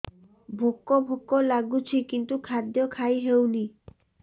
ଭୋକ ଭୋକ ଲାଗୁଛି କିନ୍ତୁ ଖାଦ୍ୟ ଖାଇ ହେଉନି